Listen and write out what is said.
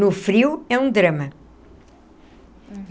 No frio, é um drama.